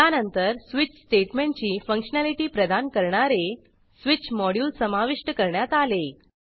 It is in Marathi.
त्यानंतर स्वीच स्टेटमेंटची फंक्शनॅलिटी प्रदान करणारे स्विच मॉड्युल समाविष्ट करण्यात आले